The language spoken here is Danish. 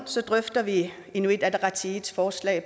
drøfter vi inuit ataqatigiits forslag